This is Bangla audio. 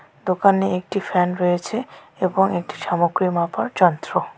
দোকানে একটি ফ্যান রয়েছে এবং একটি সামগ্রী মাপার যন্ত্র।